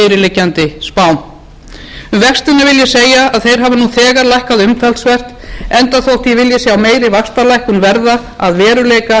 fyrirliggjandi spám um vextina vil ég segja að þeir hafa nú þegar lækkað umtalsvert enda þótt ég vilji sjá meiri vaxtalækkun verða að veruleika þegar á næstu vikum